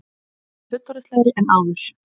Hún var fullorðinslegri en áður.